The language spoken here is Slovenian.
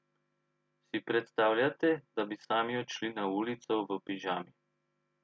Si predstavljate, da bi sami odšli na ulico v pižami?